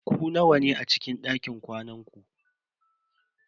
Ku nawa ne a cikin dakin kwanan ku?